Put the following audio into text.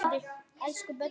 Elsku Böddi.